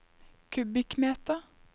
kubikkmeter